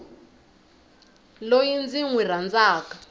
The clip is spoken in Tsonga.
loyi ndzi n wi rhandzaka